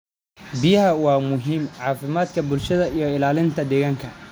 Biyaha waa muhiim caafimaadka bulshada iyo ilaalinta deegaanka.